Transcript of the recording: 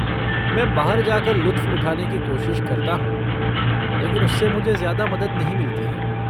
मैं बाहर जा कर लुत्फ़ उठाने की कोशिश करता हूँ, लेकिन उससे मुझे ज़्यादा मदद नहीं मिलती है।